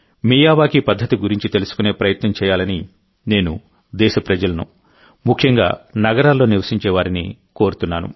Miyawaki పద్ధతి గురించి తెలుసుకునే ప్రయత్నం చేయాలని నేను దేశప్రజలనుముఖ్యంగా నగరాల్లో నివసించేవారిని కోరుతున్నాను